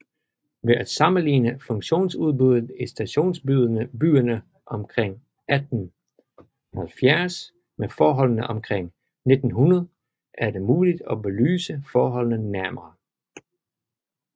Ved at sammenligne funktionsudbuddet i stationsbyerne omkring 1870 med forholdene omkring 1900 er det muligt at belyse forholdene nærmere